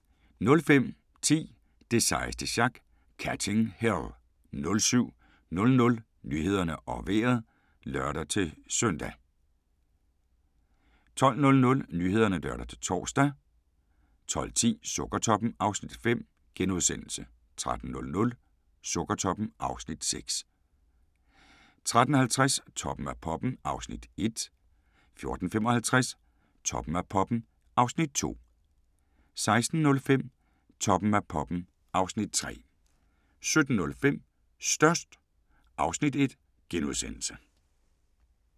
05:10: Det sejeste sjak - Catching Hell 07:00: Nyhederne og Vejret (lør-søn) 08:00: Go' morgen Danmark (lør-søn) 12:00: Nyhederne (lør-tor) 12:10: Sukkertoppen (Afs. 5)* 13:00: Sukkertoppen (Afs. 6)* 13:50: Toppen af poppen (Afs. 1) 14:55: Toppen af poppen (Afs. 2) 16:05: Toppen af poppen (Afs. 3) 17:05: Størst (Afs. 1)*